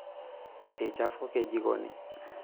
Eichafuke jikoni.